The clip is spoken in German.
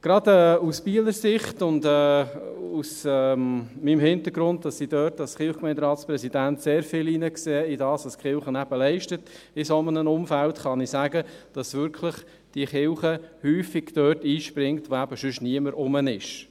Gerade aus Bieler Sicht und weil ich als Kirchgemeinderatspräsident hineinsehe in das, was die Kirche in einem solchen Umfeld leistet, kann ich sagen, dass die Kirche häufig dort einspringt, wo sonst niemand ist.